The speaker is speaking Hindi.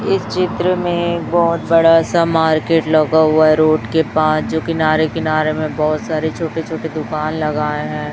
इस चित्र में बहोत बड़ा सा मार्केट लगा हुआ है रोड के पास जो किनारे किनारे में बहोत सारे छोटे छोटे दुकान लगाए हैं।